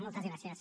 moltes gràcies